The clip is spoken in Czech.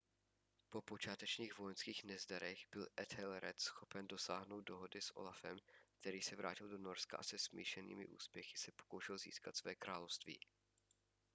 po počátečních vojenských nezdarech byl ethelred schopen dosáhnout dohody s olafem který se vrátil do norska a se smíšenými úspěchy se pokoušel získat své království